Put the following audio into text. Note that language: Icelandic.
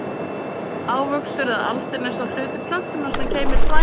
Ávöxtur eða aldin er sá hluti plöntunnar sem geymir fræið.